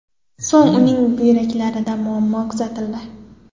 So‘ng uning buyraklarida muammo kuzatildi.